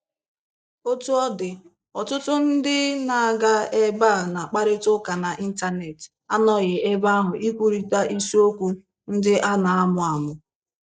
Otú ọ dị, ọtụtụ ndị na-aga ebe a na-akparịta ụka n'Intanet, anọghị ebe ahụ ikwurịta isiokwu ndị a na-amụ amụ.